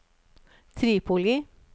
Tripoli